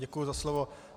Děkuji za slovo.